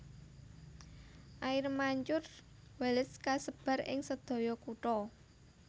Air Mancur Wallace kasebar ing sedaya kutha